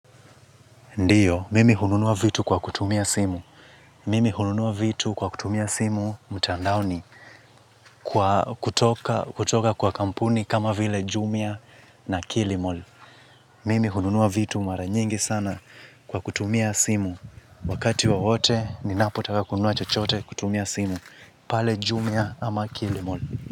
Ndiyo, mimi hununua vitu kwa kutumia simu. Mimi hununua vitu kwa kutumia simu mtandaoni kutoka kwa kampuni kama vile jumia na kilimol. Mimi hununua vitu mara nyingi sana kwa kutumia simu. Wakati wowote ni napo taka kununua chochote kutumia simu pale jumia ama kilimol.